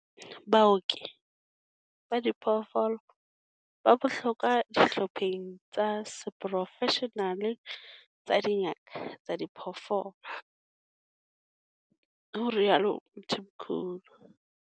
Baoki ba diphoofolo ba bohlokwa dihlopheng tsa seporofeshenale tsa dingaka tsa diphoofolo, ho rialo Mthimkhulu.